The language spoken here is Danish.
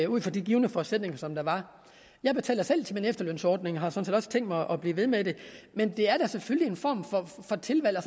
ud fra de givne forudsætninger som der var jeg betaler selv til min efterlønsordning og har sådan set også tænkt mig at blive ved med det men det er da selvfølgelig en form for tilvalg og